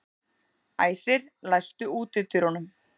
Æsir, læstu útidyrunum.